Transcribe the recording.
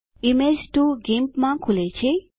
image 2 GIMP માં ખુલે છે